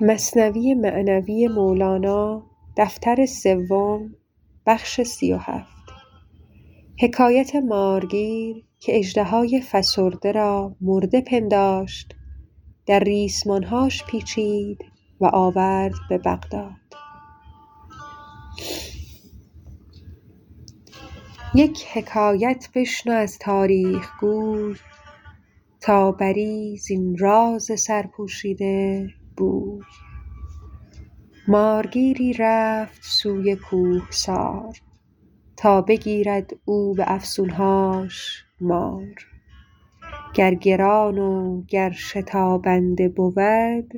یک حکایت بشنو از تاریخ گوی تا بری زین راز سرپوشیده بوی مارگیری رفت سوی کوهسار تا بگیرد او به افسون هاش مار گر گران و گر شتابنده بود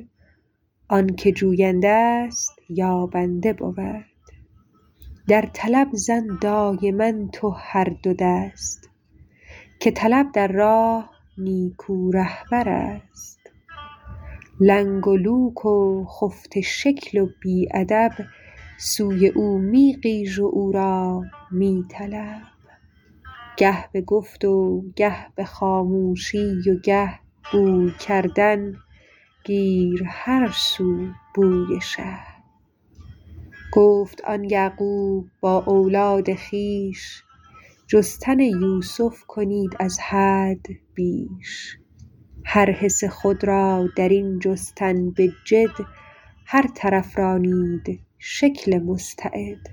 آنک جوینده ست یابنده بود در طلب زن دایما تو هر دو دست که طلب در راه نیکو رهبر ست لنگ و لوک و خفته شکل و بی ادب سوی او می غیژ و او را می طلب گه به گفت و گه به خاموشی و گه بوی کردن گیر هر سو بوی شه گفت آن یعقوب با اولاد خویش جستن یوسف کنید از حد بیش هر حس خود را درین جستن به جد هر طرف رانید شکل مستعد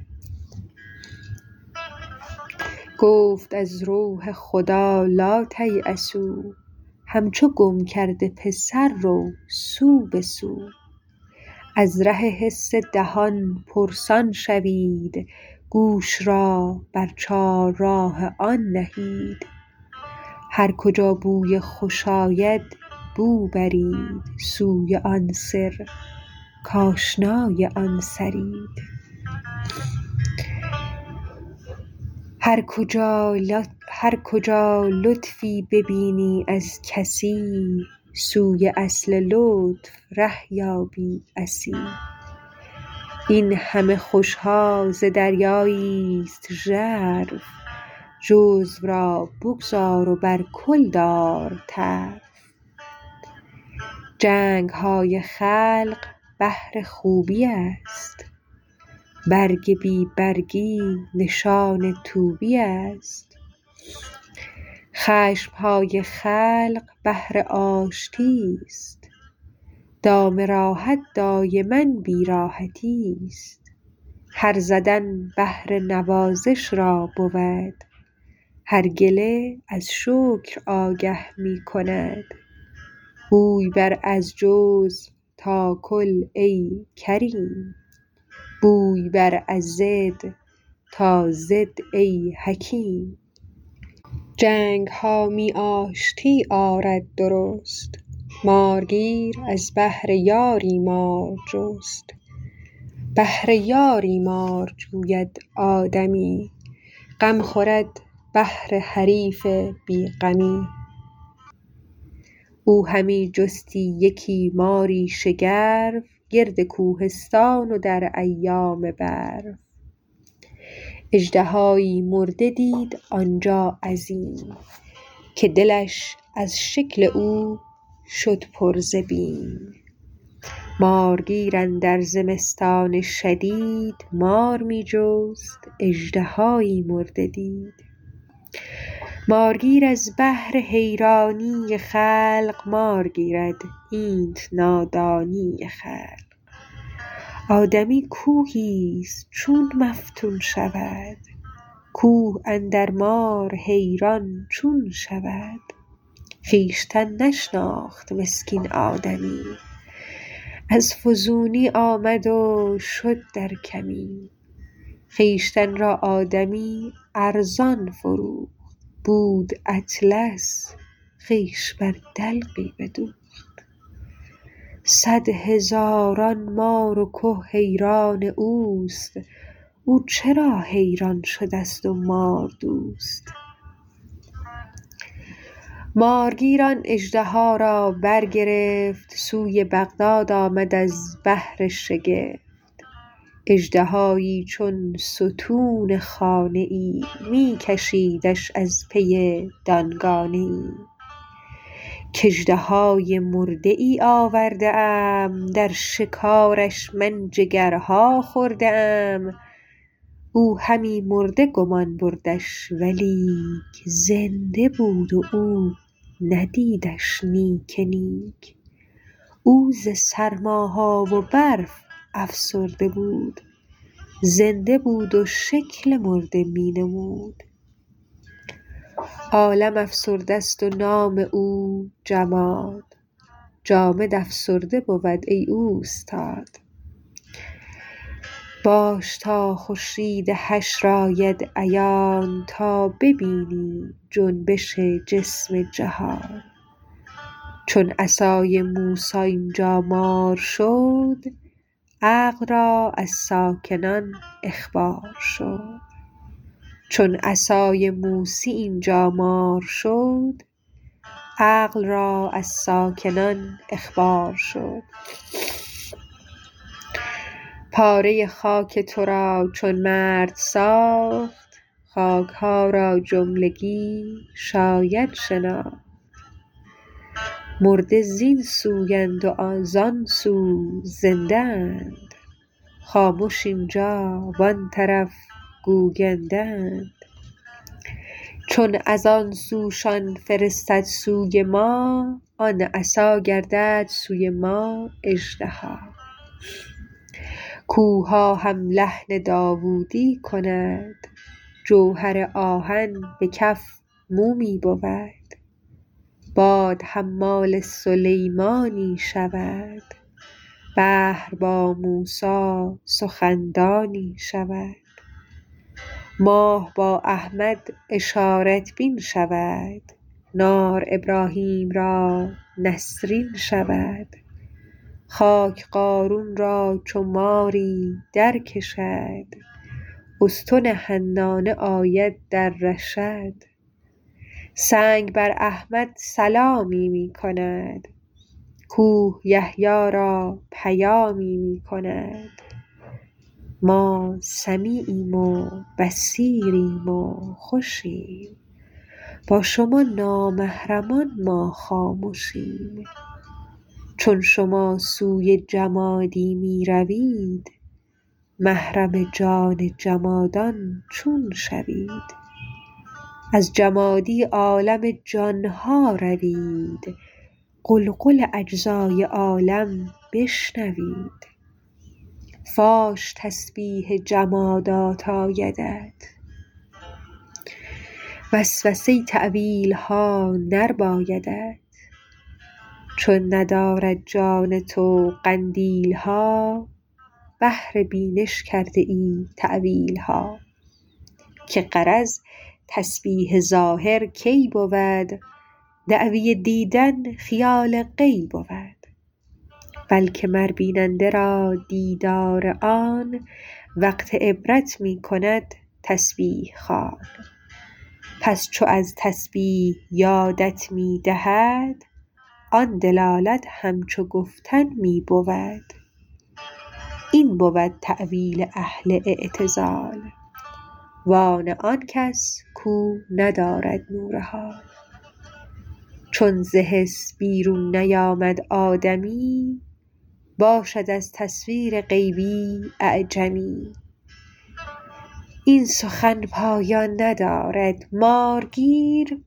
گفت از روح خدا لاتیأسوا همچو گم کرده پسر رو سو به سو از ره حس دهان پرسان شوید گوش را بر چار راه آن نهید هر کجا بوی خوش آید بو برید سوی آن سر کاشنای آن سرید هر کجا لطفی ببینی از کسی سوی اصل لطف ره یابی عسی این همه خوش ها ز دریایی ست ژرف جزو را بگذار و بر کل دار طرف جنگ های خلق بهر خوبی است برگ بی برگی نشان طوبی است خشم های خلق بهر آشتی ست دام راحت دایما بی راحتی ست هر زدن بهر نوازش را بود هر گله از شکر آگه می کند بوی بر از جزو تا کل ای کریم بوی بر از ضد تا ضد ای حکیم جنگ ها می آشتی آرد درست مارگیر از بهر یاری مار جست بهر یاری مار جوید آدمی غم خورد بهر حریف بی غمی او همی جستی یکی ماری شگرف گرد کوهستان و در ایام برف اژدهایی مرده دید آنجا عظیم که دلش از شکل او شد پر ز بیم مارگیر اندر زمستان شدید مار می جست اژدهایی مرده دید مارگیر از بهر حیرانی خلق مار گیرد اینت نادانی خلق آدمی کوهی ست چون مفتون شود کوه اندر مار حیران چون شود خویشتن نشناخت مسکین آدمی از فزونی آمد و شد در کمی خویشتن را آدمی ارزان فروخت بود اطلس خویش بر دلقی بدوخت صد هزاران مار و که حیران اوست او چرا حیران شده ست و مار دوست مارگیر آن اژدها را برگرفت سوی بغداد آمد از بهر شگفت اژدهایی چون ستون خانه ای می کشیدش از پی دانگانه ای کاژدهای مرده ای آورده ام در شکارش من جگرها خورده ام او همی مرده گمان بردش ولیک زنده بود و او ندیدش نیک نیک او ز سرما ها و برف افسرده بود زنده بود و شکل مرده می نمود عالم افسرده ست و نام او جماد جامد افسرده بود ای اوستاد باش تا خورشید حشر آید عیان تا ببینی جنبش جسم جهان چون عصای موسی اینجا مار شد عقل را از ساکنان اخبار شد پاره خاک تو را چون مرد ساخت خاک ها را جملگی شاید شناخت مرده زین سو اند و زان سو زنده اند خامش اینجا و آن طرف گوینده اند چون از آن سوشان فرستد سوی ما آن عصا گردد سوی ما اژدها کوهها هم لحن داودی کند جوهر آهن به کف مومی بود باد حمال سلیمانی شود بحر با موسی سخن دانی شود ماه با احمد اشارت بین شود نار ابراهیم را نسرین شود خاک قارون را چو ماری درکشد استن حنانه آید در رشد سنگ بر احمد سلامی می کند کوه یحیی را پیامی می کند ما سمیعیم و بصیریم و خوشیم با شما نامحرمان ما خامشیم چون شما سوی جمادی می روید محرم جان جمادان چون شوید از جمادی عالم جانها روید غلغل اجزای عالم بشنوید فاش تسبیح جمادات آیدت وسوسه ی تاویلها نربایدت چون ندارد جان تو قندیل ها بهر بینش کرده ای تاویل ها که غرض تسبیح ظاهر کی بود دعوی دیدن خیال غی بود بلک مر بیننده را دیدار آن وقت عبرت می کند تسبیح خوان پس چو از تسبیح یادت می دهد آن دلالت همچو گفتن می بود این بود تاویل اهل اعتزال و آن آنکس کو ندارد نور حال چون ز حس بیرون نیامد آدمی باشد از تصویر غیبی اعجمی این سخن پایان ندارد مارگیر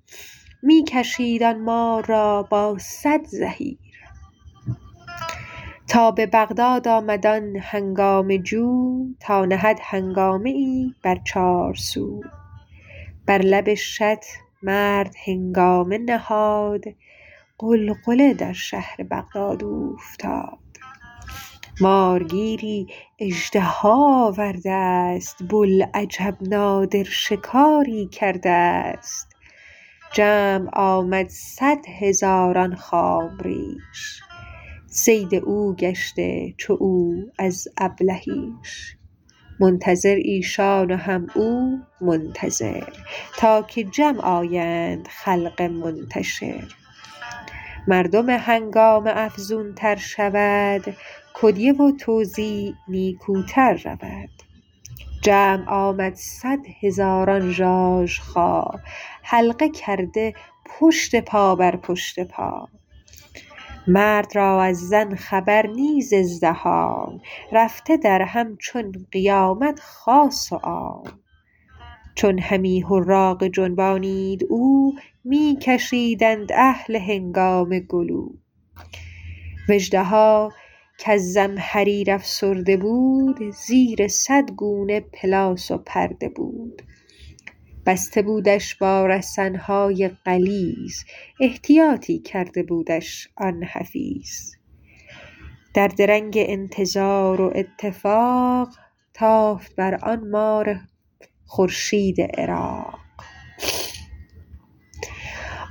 می کشید آن مار را با صد زحیر تا به بغداد آمد آن هنگامه جو تا نهد هنگامه ای بر چارسو بر لب شط مرد هنگامه نهاد غلغله در شهر بغداد اوفتاد مارگیری اژدها آورده است بوالعجب نادر شکاری کرده است جمع آمد صد هزاران خام ریش صید او گشته چو او از ابلهیش منتظر ایشان و هم او منتظر تا که جمع آیند خلق منتشر مردم هنگامه افزون تر شود کدیه و توزیع نیکوتر رود جمع آمد صد هزاران ژاژخا حلقه کرده پشت پا بر پشت پا مرد را از زن خبر نه ز ازدحام رفته درهم چون قیامت خاص و عام چون همی حراقه جنبانید او می کشیدند اهل هنگامه گلو و اژدها کز زمهریر افسرده بود زیر صد گونه پلاس و پرده بود بسته بودش با رسن های غلیظ احتیاطی کرده بودش آن حفیظ در درنگ انتظار و اتفاق تافت بر آن مار خورشید عراق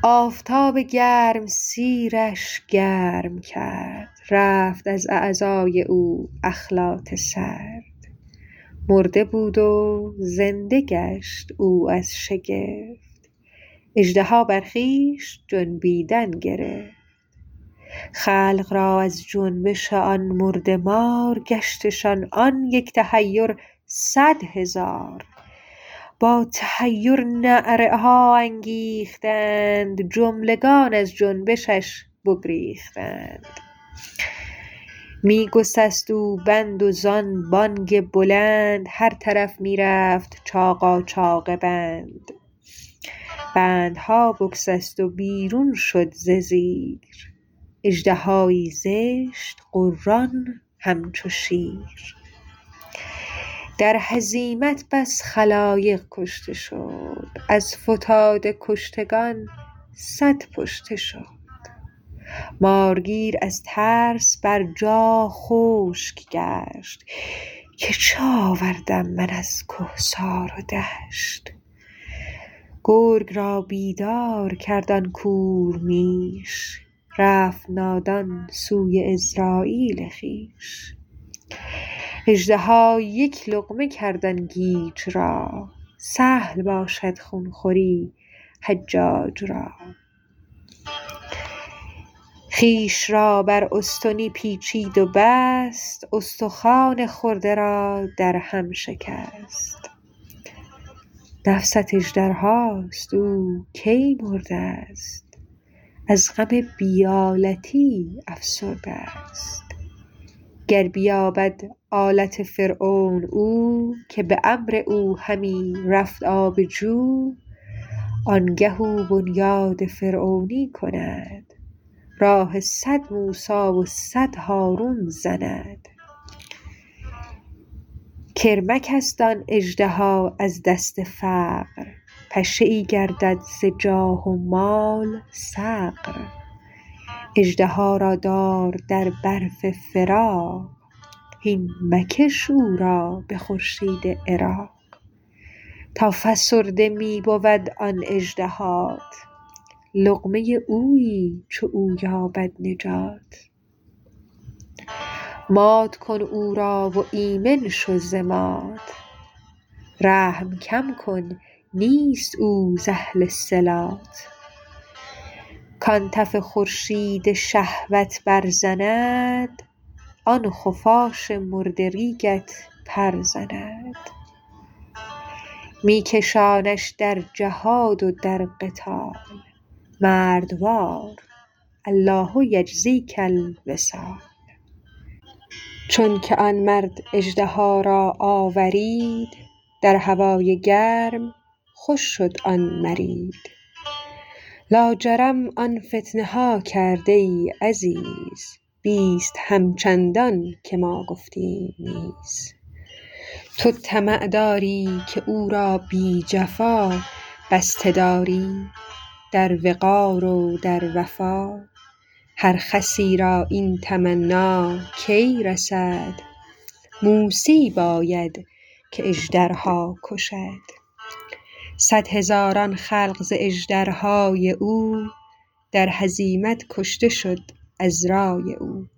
آفتاب گرمسیر ش گرم کرد رفت از اعضای او اخلاط سرد مرده بود و زنده گشت او از شگفت اژدها بر خویش جنبیدن گرفت خلق را از جنبش آن مرده مار گشتشان آن یک تحیر صد هزار با تحیر نعره ها انگیختند جملگان از جنبشش بگریختند می سکست او بند و زان بانگ بلند هر طرف می رفت چاقاچاق بند بندها بسکست و بیرون شد ز زیر اژدهایی زشت غران همچو شیر در هزیمت بس خلایق کشته شد از فتاده کشتگان صد پشته شد مارگیر از ترس بر جا خشک گشت که چه آوردم من از کهسار و دشت گرگ را بیدار کرد آن کور میش رفت نادان سوی عزراییل خویش اژدها یک لقمه کرد آن گیج را سهل باشد خون خوری حجیج را خویش را بر استنی پیچید و بست استخوان خورده را در هم شکست نفست اژدرهاست او کی مرده است از غم و بی آلتی افسرده است گر بیابد آلت فرعون او که به امر او همی رفت آب جو آنگه او بنیاد فرعونی کند راه صد موسی و صد هارون زند کرمک است آن اژدها از دست فقر پشه ای گردد ز جاه و مال صقر اژدها را دار در برف فراق هین مکش او را به خورشید عراق تا فسرده می بود آن اژدهات لقمه اویی چو او یابد نجات مات کن او را و ایمن شو ز مات رحم کم کن نیست او ز اهل صلات کان تف خورشید شهوت برزند آن خفاش مردریگت پر زند می کشانش در جهاد و در قتال مردوار الله یجزیک الوصال چونک آن مرد اژدها را آورید در هوای گرم خوش شد آن مرید لاجرم آن فتنه ها کرد ای عزیز بیست همچندان که ما گفتیم نیز تو طمع داری که او را بی جفا بسته داری در وقار و در وفا هر خسی را این تمنی کی رسد موسیی باید که اژدرها کشد صد هزاران خلق ز اژدرهای او در هزیمت کشته شد از رای او